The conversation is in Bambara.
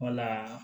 Wala